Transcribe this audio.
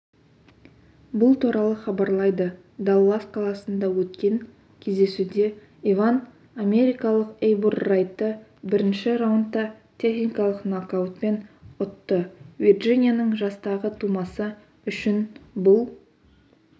бұл туралы хабарлайды даллас қаласында өткен кездесуде иван америкалық эйбур райтты бірінші раундта техникалық нокаутпен ұтты вирджинияның жастағы тумасы үшін бұл